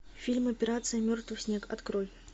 фильм операция мертвый снег открой